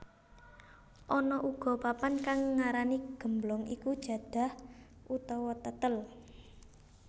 Ana uga papan kang ngarani gemblong iku jadah utawa tetel